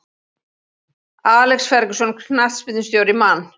Alex Ferguson knattspyrnustjóri Man